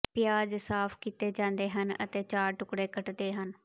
ਪਿਆਜ਼ ਸਾਫ਼ ਕੀਤੇ ਜਾਂਦੇ ਹਨ ਅਤੇ ਚਾਰ ਟੁਕੜੇ ਕੱਟਦੇ ਹਨ